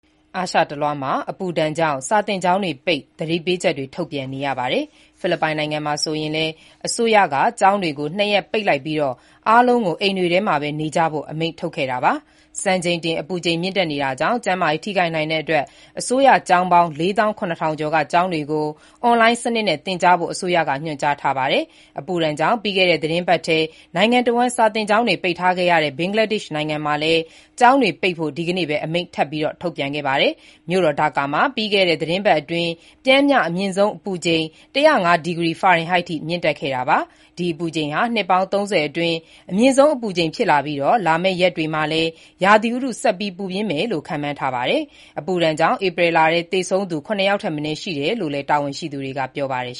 အာရှတလွှားမှာ အပူဒဏ်ကြောင့် စာသင်ကျောင်းတွေပိတ်၊ သတိပေးချက်တွေ ထုတ်ပြန်နေရပါတယ်။ ဖိလစ်ပိုင်နိုင်ငံမှာ ဆိုရင်လည်း အစိုးရက ကျောင်းတွေကို ၂ ရက်ပိတ်လိုက်ပြီး အားလုံးကို အိမ်တွေမှာပဲနေကြဖို့ အမိန့်ထုတ်ခဲ့တာပါ။ စံချိန်တင် အပူချိန်မြင့်နေတာကြောင့် ကျန်းမာရေးထိခိုက်နိုင်တဲ့အတွက် အစိုးရကျောင်းပေါင်း ၄၇,၀၀၀ ကျော်က ကျောင်းတွေကို အွန်လိုင်းစနစ်နဲ့ သင်ကြားဖို့ အစိုးရက ညွှန်ကြားထားတာပါ။ အပူဒဏ်ကြောင့် ပြီးခဲ့တဲ့ သီတင်းပတ်ထဲ နိုင်ငံတဝန်း စာသင်ကျောင်းတွေပိတ်ထားခဲ့ရတဲ့ ဘင်္ဂလားဒေ့ရှ် နိုင်ငံမှာလည်း ကျောင်းတွေပိတ်ဖို့ ဒီကနေ့ပဲ အမိန့်ထပ်မံထုတ်ပြန်ခဲ့တာပါ။ မြို့တော်ဒါကာမှာ ပြီးခဲ့တဲ့ သီတင်းပတ်အတွင်း ပျမ်းမျှ အမြင့်ဆုံးအပူချိန် ၁၀၅ ဒီကရီဖာရင်ဟိုက် အထိမြင့်တက်ခဲ့တာပါ။ ဒီအပူချိန်က နှစ်ပေါင်း ၃၀ အတွင်း အမြင့်ဆုံးအပူချိန်ဖြစ်ပြီး လာမယ့်ရက်တွေမှာလည်း ရာသီဥတု ဆက်ပြီးပူပြင်းမယ်လို့ ခန့်မှန်းထားပါတယ်။ အပူဒဏ်ကြောင့် ဧပြီလထဲ သေဆုံးသူ ၇ ယောက်ထက်မနည်းရှိတယ်လို့လည်း တာဝန်ရှိသူတွေက ပြောပါတယ်